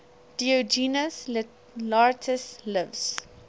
diogenes laertius's lives